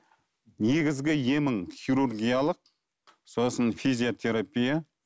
негізгі емің хирургиялық сосын физиотерапия